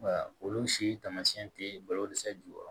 Olu si taamasiyɛn tɛ balo dɛsɛ jukɔrɔ